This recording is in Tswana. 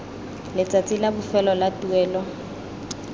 letsatsi la bofelo la tuelo